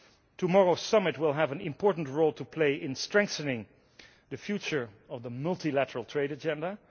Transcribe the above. Tomorrow's summit will have an important role to play in strengthening the future of the multilateral trade agenda.